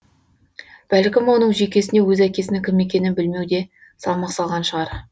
бәлкім оның жүйкесіне өз әкесінің кім екенін білмеу де салмақ салған шығар